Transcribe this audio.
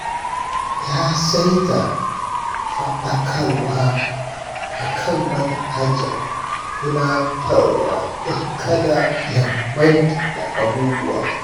Ya saita faɗakarwa a kan manhajar tunatarwa don kada ya manta da abubuwa.